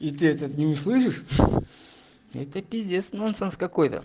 и ты этот этот не услышишь это пиздец нонсенс какой-то